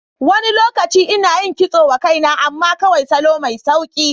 Wani lokaci ina yin kitso wa kaina, amma kawai salo mai sauƙi.